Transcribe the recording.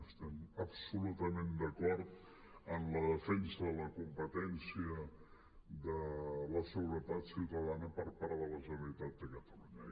estem absolutament d’acord en la defensa de la competència de la seguretat ciutadana per part de la generalitat de catalunya